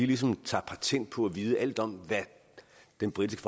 ligesom tager patent på at vide alt om hvad den britiske